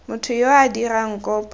motho yo o dirang kopo